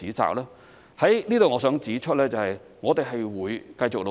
我在此希望指出，我們會繼續努力。